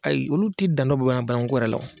Ayi olu ti dan dɔ banakuko yɛrɛ la.